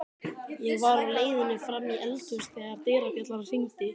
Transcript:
Ég var á leiðinni fram í eldhús þegar dyrabjallan hringdi.